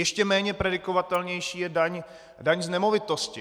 Ještě méně predikovatelnější je daň z nemovitosti.